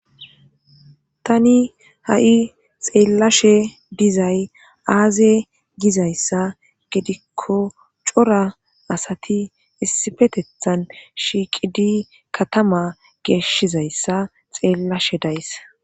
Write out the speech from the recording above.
Tani ha'i xeellashe dizay aaze gizayssa gidikko cora asati issifetethan shiiqidi katama geeshshizayssa xeellashe days.